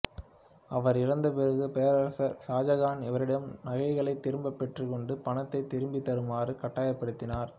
அவர் இறந்த பிறகு பேரரசர் ஷாஜகான் இவரிடம் நகைகளைத் திரும்பப் பெற்றுக்கொண்டு பணத்தை திருப்பித் தருமாறு கட்டாயப்படுத்தினார்